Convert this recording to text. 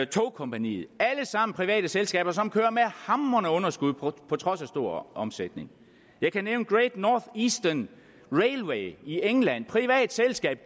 tågkompaniet er alle sammen private selskaber som kører med hamrende underskud på trods af stor omsætning jeg kan nævne great north eastern railway i england et privat selskab